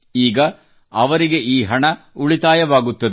ಈಗ ಅವರಿಗೆ ಈ ಹಣ ಉಳಿತಾಯವಾಗುತ್ತದೆ